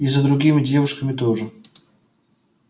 и за другими девушками тоже